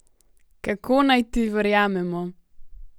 Kako naj ti verjamemo?